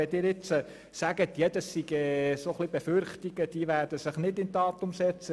Wenn Sie jetzt sagen, das seien Befürchtungen, die sich nicht bewahrheiten würden, bin ich nicht ganz überzeugt.